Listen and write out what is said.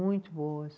Muito boas.